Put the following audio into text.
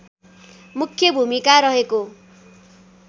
मुख्य भूमिका रहेको